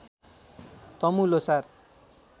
Tamu Lhosar